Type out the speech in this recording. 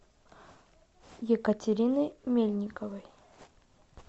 екатерины мельниковой